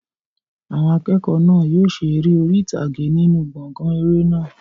Àwọn akẹ́kọ̀ọ́ náà yóò ṣe eré orí ìtàgé nínú gbọ̀ngàn eré náà.